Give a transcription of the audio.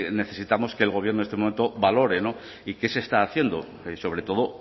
necesitamos que el gobierno en este momento valore y qué se está haciendo y sobre todo